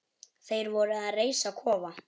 Þeir voru að reisa kofa.